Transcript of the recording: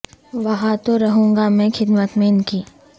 وہاں تو رہوں گا میں خدمت میں ان کی